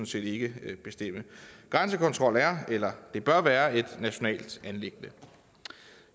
set ikke bestemme grænsekontrol er eller det bør være et nationalt anliggende